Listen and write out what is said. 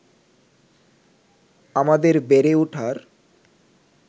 আমাদের বেড়ে ওঠার